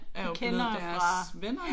Kender jo fra